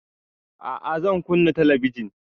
A'a zan kunna talabijin